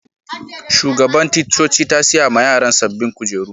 Shugaban ticcoci ta siya ma yaran sabobin kujeru.